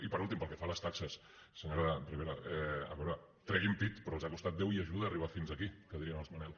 i per últim pel que fa a les taxes senyora ribera a veure treguin pit però els ha costat déu i ajuda arribar fins aquí que dirien els manel